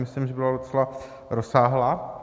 Myslím, že byla docela rozsáhlá.